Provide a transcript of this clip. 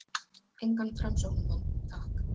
Engan framsóknarmann- takk!